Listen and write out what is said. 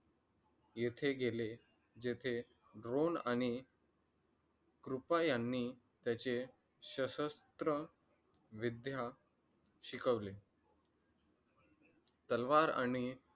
येथे गेले. जिथे द्रोण आणि कृपा यांही त्याचे शशस्त्र विद्या शिकवले. तलवार आणि